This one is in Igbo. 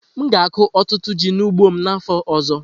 M ga-akụ ọtụtụ ji n'ugbo m n'afọ ọzọ.